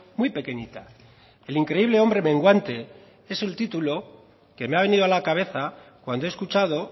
muy pequeñita el increíble hombre menguante es el título que me ha venido a la cabeza cuando he escuchado